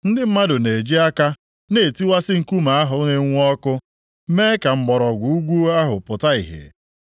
Ndị mmadụ na-eji aka na-etiwasị nkume ahụ na-enwu ọkụ mee ka mgbọrọgwụ ugwu ahụ pụta ìhè.